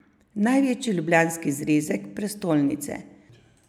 Največji ljubljanski zrezek prestolnice.